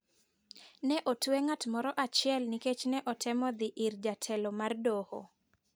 Ne otwe ng'at moro achiel nikech ne otemo thi ir jatelo mar doho